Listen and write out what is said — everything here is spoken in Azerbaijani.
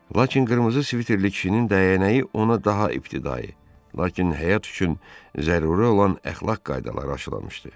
Lakin qırmızı sviterli kişinin dəyənəyi ona daha ibtidai, lakin həyat üçün zəruri olan əxlaq qaydalarını aşılamışdı.